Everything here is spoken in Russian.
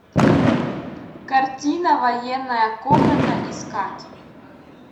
картина военная комната искать